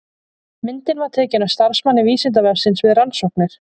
Myndin var tekin af starfsmanni Vísindavefsins við rannsóknir.